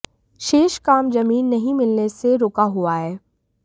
शेष काम जमीन नहीं मिलने से रुका हुआ है